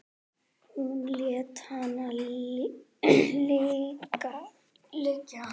Hún lét hana liggja.